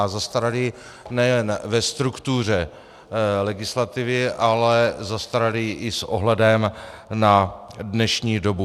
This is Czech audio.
A zastaralý nejen ve struktuře legislativy, ale zastaralý i s ohledem na dnešní dobu.